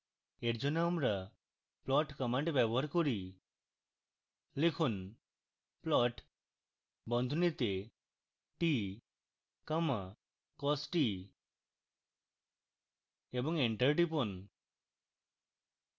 for জন্য আমরা plot command ব্যবহার করি লিখুন plot বন্ধনীতে t comma cos t এবং enter টিপুন